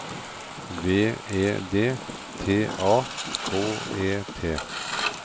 V E D T A K E T